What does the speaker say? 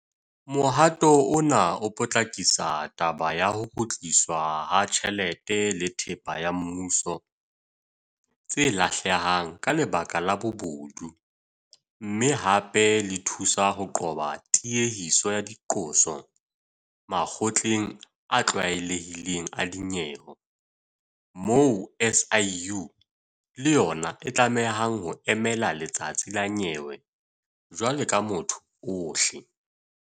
Mohato ona o potlakisa taba ya ho kgutliswa ha tjhelete le thepa ya mmuso tse lahlehang ka lebaka la bobodu mme hape le thusa ho qoba tiehiso ya diqoso makgotleng a tlwaelehileng a dinyewe moo SIU le yona e tlamehang ho emela letsatsi la nyewe jwalo ka motho ohle.